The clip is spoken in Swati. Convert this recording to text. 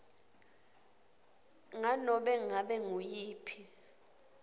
nganobe ngabe nguyiphi